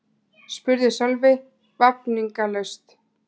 spurði Sölvi vafningalaust.